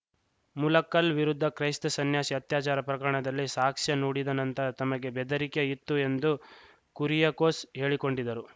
ಮುಲಕ್ಕಲ್‌ ವಿರುದ್ಧ ಕ್ರೈಸ್ತ ಸನ್ಯಾಸಿ ಅತ್ಯಾಚಾರ ಪ್ರಕರಣದಲ್ಲಿ ಸಾಕ್ಷ್ಯ ನುಡಿದ ನಂತರ ತಮಗೆ ಬೆದರಿಕೆ ಇತ್ತು ಎಂದು ಕುರಿಯಕೋಸ್‌ ಹೇಳಿಕೊಂಡಿದ್ದರು